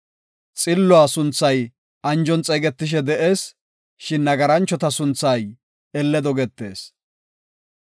Xilluwa sunthay anjon xeegetishe de7ees; shin nagaranchota sunthay elle dogetees.